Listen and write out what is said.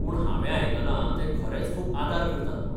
पूण, हावें आयकलां ते खरेंच खूब आदार करतात म्हूण.